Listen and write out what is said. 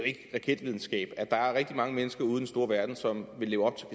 raketvidenskab at der er rigtig mange mennesker ude i den store verden som vil leve op